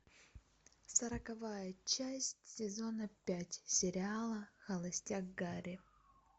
сороковая часть сезона пять сериала холостяк гарри